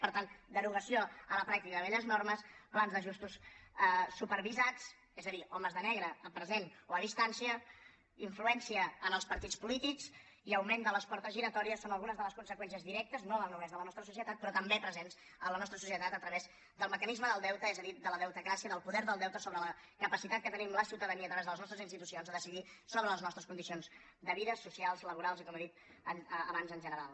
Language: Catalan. per tant derogació a la pràctica de velles normes plans d’ajustos supervisats és a dir homes de negre a present o a distància influència en els partits polítics i augment de les portes giratòries són algunes de les conseqüències directes no només a la nostra societat però també presents en la nostra societat a través del mecanisme del deute és a dir de la deutecràcia del poder del deute sobre la capacitat que tenim la ciutadania a través de les nostres institucions de decidir sobre les nostres condicions de vida socials laborals i com he dit abans en general